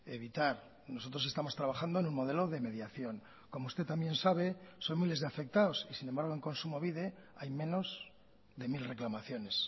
evitar nosotros estamos trabajando en un modelo de mediación como usted también sabe son miles de afectados y sin embargo en kontsumobide hay menos de mil reclamaciones